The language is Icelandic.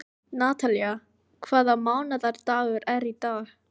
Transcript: Natalía, hvaða mánaðardagur er í dag?